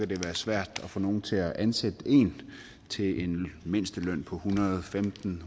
det være svært at få nogen til at ansætte en til en mindsteløn på en hundrede og femten